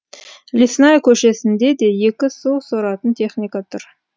лесная көшесіне де екі су соратын техника тұр